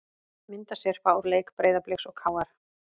Myndasyrpa úr leik Breiðabliks og KR